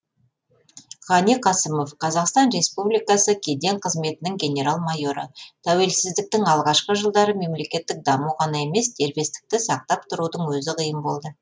ғани қасымов қазақстан республикасы кеден қызметінің генерал майоры тәуелсіздіктің алғашқы жылдары мемлекеттік даму ғана емес дербестікті сақтап тұрудың өзі қиын болды